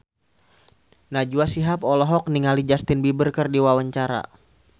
Najwa Shihab olohok ningali Justin Beiber keur diwawancara